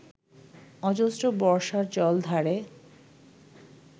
অজস্র বর্ষার জলধারে